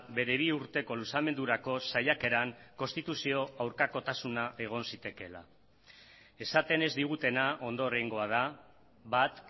bere bi urteko luzamendurako saiakeran konstituzio aurkakotasuna egon zitekeela esaten ez digutena ondorengoa da bat